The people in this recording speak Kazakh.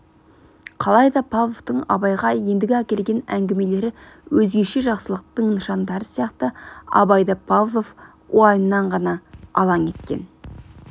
қалайда павловтың абайға ендігі әкелген әңгімелері өзгеше жақсылықтың нышандары сияқты абайды павлов уайымнан ғана алаң еткен